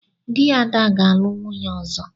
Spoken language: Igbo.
Di Ada ga-alu nwunye ozo.